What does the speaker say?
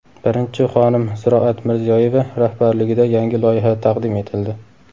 Birinchi xonim Ziroat Mirziyoyeva rahbarligida yangi loyiha taqdim etildi.